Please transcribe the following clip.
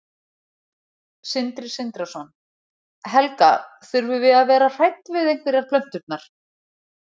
Sindri Sindrason: Helga, þurfum við að vera hrædd við einhverjar plönturnar?